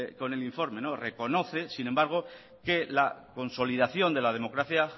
con el informe reconoce sin embargo que la consolidación de la democracia